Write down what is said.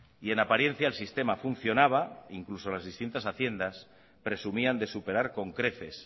en apariencia el sistema funcionaba incluso en las distintas haciendas presumían de superar con creces